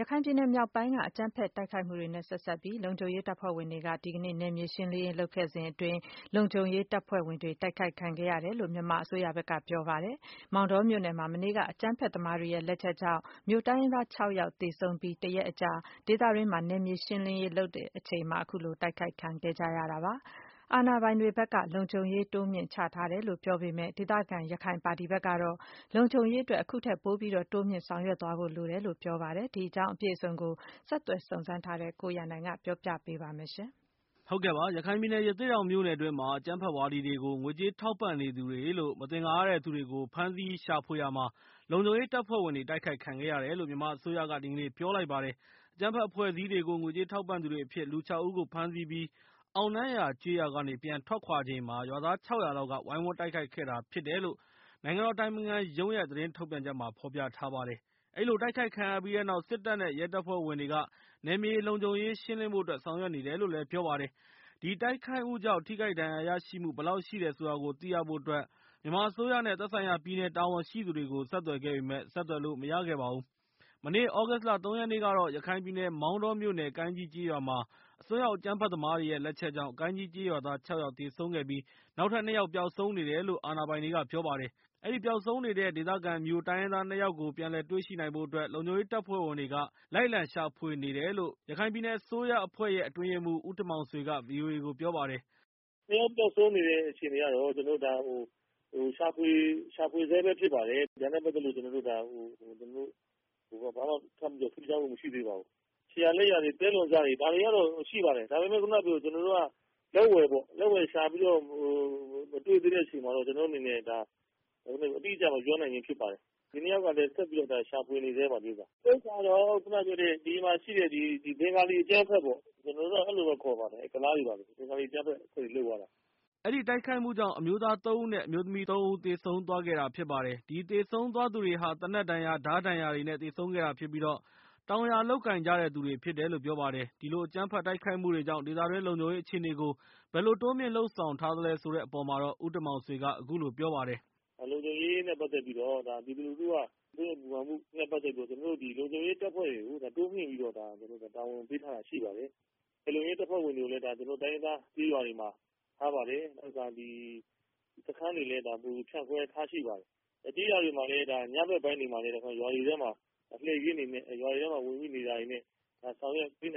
ရခိုင်ပြည်နယ်မြောက်ပိုင်းက အကြမ်းဖက်တိုက်ခိုက်မှုတွေနဲ့ ဆက်စပ်ပြီး လုံခြုံရေး တပ်ဖွဲ့ဝင်တွေက ဒီကနေ့ နယ်မြေရှင်းလင်းရေး လုပ်ခဲ့စဉ်အတွင်း လုံခြုံရေးတပ်ဖွဲ့ဝင်တွေ တိုက်ခိုက်ခံခဲ့ရတယ်လို့ မြန်မာအစိုးရက ပြောလိုက်ပါတယ်။ မောင်တောမြို့နယ်မှာ မနေ့က အကြမ်းဖက်သမားတွေရဲ့ လက်ချက်ကြောင့် မြိုတိုင်းရင်းသား ၆ ယောက်သေဆုံးပြီး တရက်အကြာ၊ ဒေသတွင်းမှာ နယ်မြေရှင်းလင်းရေး လုပ်စဉ်အတွင်း အခုလို တိုက်ခိုက်ခံခဲ့ရတာဖြစ်ပါတယ်။ အာဏာပိုင်တွေဘက်က လုံခြုံရေးတွေ တိုးမြှင့်ချထားတယ်လို့ ပြောပေမယ့်၊ ဒေသခံ ရခိုင်ပါတီဘက်ကတော့ လုံခြုံရေးအတွက် အခုထက် ပိုတိုးမြှင့် လုပ်ဆောင်သွားဖို့လိုတယ်လို့ ပြောပါတယ်။ ဒီအကြောင်း အပြည့်အစုံကိုတော့ ဆက်သွယ်စုံစမ်းထားတဲ့ ကိုရန်နိုင်က ပြောပြပေးမှာဖြစ်ပါတယ်။ ရခိုင်ပြည်နယ် ရသေ့တောင်မြို့နယ်အတွင်းမှာ အကြမ်းဖက်ဝါဒီတွေကို ငွေကြေးထောက်ပံ့နေသူတွေလို့ မသင်္ကာရတဲ့သူတွေကို ဖမ်းဆီး ရှာဖွေရာမှာ လုံခြုံရေးတပ်ဖွဲ့ဝင်တွေ တိုက်ခိုက်ခံခဲ့ရတယ်လို့မြန်မာအစိုးရက ပြောလိုက်ပါတယ်။ အကြမ်းဖက်အဖွဲ့အစည်းတွေကို ငွေကြေးထောက်ပံ့သူတွေအဖြစ် လူ ၆ ဦးကို ဖမ်းဆီးအပြီး အောက်နန်းရာကျေးရွာ က ပြန်လည်ထွက်ခွာချိန်မှာ ရွာသား ၆၀၀ လောက်က ဝိုင်းဝန်း တိုက်ခိုက်တာကို ခံခဲ့ရတာဖြစ်တယ်လို့ နိုင်ငံတော်အတိုင်ပင်ခံရုံးရဲ့ သတင်းထုတ်ပြန်ချက်မှာ ဖော်ပြထားပါတယ်။ အဲဒီလို တိုက်ခိုက်ခံရပြီးတဲ့နောက် စစ်တပ်နဲ့ ရဲတပ်ဖွဲ့ဝင်တွေ နယ်မြေလုံခြုံရေးရှင်းလင်းဖို့အတွက် ဆောင်ရွက်နေတယ်လို့လည်း သတင်းထုတ်ပြန်ထားပါတယ်။ တိုက်ခိုက်မှုကြောင့် ထိခိုက်ဒဏ်ရာရရှိမှု ဘယ်လောက်ရှိတယ်ဆိုတာကို သိရဖို့ မြန်မာအစိုးရ နဲ့ သက်ဆိုင်ရာ ပြည်နယ်တာဝန်ရှိသူတွေကို ဆက်သွယ်ခဲ့ပေမယ့် ဆက်သွယ်လို့မရခဲ့ပါဘူး။ မနေ့ သြဂုတ်လ ၃ ရက်နေ့ကတော့ ရခိုင်ပြည်နယ် မောင်တောမြို့နယ် ကိုင်းကြီးကျေးရွာမှာ အစွန်းရောက်အကြမ်းဖက်သမားတွေရဲ့ လက်ချက်ကြောင့် ကိုင်ကြီးကျေးရွာသာ ၆ ယောက် သေဆုံးခဲ့ပြီး နောက်ထပ် ၂ ယောက် ပျောက်ဆုံ နေတယ်လို့ အာဏာပိုင်တွေဘက်က ပြောပါတယ်။ အဲဒီ ပျောက်ဆုံးနေတဲ့ ဒေသခံ မြို တိုင်းရင်းသား ၂ ယောက်ကိုတော့ ပြန်လည်တွေ့ရှိနိုင်ဖို့အတွက် လုံခြုံရေးတပ်ဖွဲ့တွေက လိုက်လံရှာဖွေနေတယ်လို့ ရခိုင်ပြည်နယ်အစိုးရအဖွဲ့ အတွင်းရေးမှူး ဦးတင်မောင်ဆွေက ဗွီအိုအေကို ပြောပါတယ်။ "နှစ်ယောက်ပျောက်ဆုံးနေဆဲအခြေအနေကတော့ ကျနော်တို့ ရှာဖွေဆဲပဲဖြစ်ပါတယ်။ ဒါနဲ့ပတ်သက်လို့ ကျနော်တို့ ဘာမှ ထူးခြားမှုမရှိသေးပါဘူး။ ခြေရာလက်ရာတွေ သဲလွန်စတွေ ဒါတွေကတော့ရှိပါတယ် ဒါပေမဲ့ ဒါကို ကျနော်တို့ လက်ဝယ် ရှာဖွေမတွေ့သေးတဲ့အချိန်မှာတော့ ကျနော်တို့အနေနဲ့ အတိအကျ မပြောနိုင်ခြင်းဖြစ် ပါတယ်။ ဒီနှစ်ယောက်ကိုတော့ ဆက်လက်ရှာဖွေနေဆဲပါ။ ဒါကတော့ ဘင်္ဂလီအကြမ်းဖက်တွေ လုပ်သွားတာပါ။" အဲဒီတိုက်ခိုက်မှုကြောင့် အမျိုးသား ၃ ဦး နဲ့ အမျိုးသမီး ၃ ဦး သေဆုံးသွားခဲ့တာဖြစ် တယ်လို့ အာဏာပိုင်တွေဘက်က သတင်းထုတ်ပြန်ထားပါတယ်။ အဲဒီသေဆုံး သွားသူတွေဟာ သေနတ်ဒဏ်ရာ ၊ ဓါးဒဏ်ရာတွေ နဲ့ သေဆုံးခဲ့တာဖြစ်ပြီး၊ တောင်ယာလုပ်ကိုင်ကြတဲ့သူတွေဖြစ်တယ်လို့ ပြောပါတယ်။ ဒီလို အကြမ်းဖက် တိုက်ခိုက်မှုတွေကြောင့် ဒေသတွင်း လုံခြုံရေးအခြေအနေကို ဘယ်လို တိုးမြှင့် လုပ်ဆောင်ထားသလဲဆိုတဲ့အပေါ်မှာ ဦးတင်မောင်ဆွေက ပြောပါတယ်။ "လုံခြုံရေးနဲ့ပတ်သက်ပြီး ပြည်သူလူထုက စိုးရိမ်ပူပင်နေတော့ ကျနော်တို့က လုံခြုံရေးတပ်ဖွဲ့ဝင်တွေကို တိုးမြှင့်ပြီးတော့ တာဝန်ပေးထားတာရှိပါတယ်။ လုံခြုံရေး တပ်ဖွဲ့ဝင်တွေကိုလည်း ကျနော်တို့ တိုင်းရင်းသားကျေးရွာတွေမှာ ထားပါတယ်။ စခန်းတွေမှာလည်း ဖြန့်ခွဲထားရှိပါတယ်။ အဓိကကတော့ ရွာတွေထဲမှာ လှည့်ကင်းတွေနဲ့ ဆောင်ရွက်ပေး